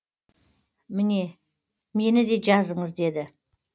мені де жазыңыз деді